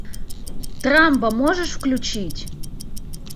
трамбо можешь включить